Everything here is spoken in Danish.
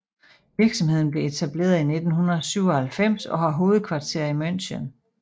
Virksomheden blev etableret i 1997 og har hovedkvarter i München